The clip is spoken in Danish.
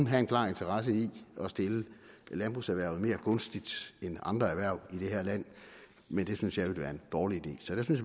have en klar interesse i at stille landbrugserhvervet mere gunstigt end andre erhverv i det her land men det synes jeg ville være en dårlig idé så der synes